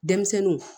Denmisɛnninw